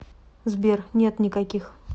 сбер нет никаких